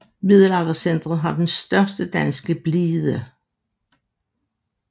Middelaldercentret har den største danske blide